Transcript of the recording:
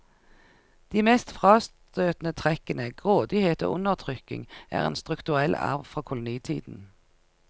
De mest frastøtende trekkene, grådighet og undertrykking, er en strukturell arv fra kolonitiden.